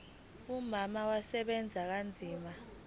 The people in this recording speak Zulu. umama usebenza kanzima